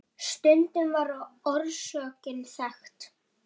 Stundum var orsökin þekkt.